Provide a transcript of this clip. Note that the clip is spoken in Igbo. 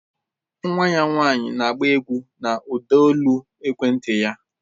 Nwa ya nwanyị na-agba egwú na ụdaolu ekwenti ya